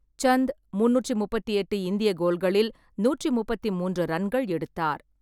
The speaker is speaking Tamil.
சந்த் முந்நூற்றி முப்பத்தி எட்டு இந்திய கோல்களில் நூற்றி முப்பத்தி மூன்று ரன்கள் எடுத்தார்.